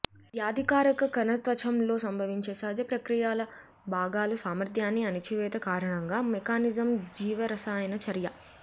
వ్యాధికారక కణ త్వచం లో సంభవించే సహజ ప్రక్రియల భాగాలు సామర్థ్యాన్ని అణిచివేత కారణంగా మెకానిజం జీవరసాయన చర్య